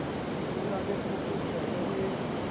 ho na le phokotseho e